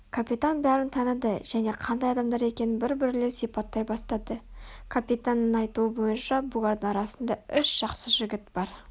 капитан бәрін таныды және қандай адамдар екенін бір-бірлеп сипаттай бастады капитанның айтуы бойынша бұлардың арасында үш жақсы жігіт бар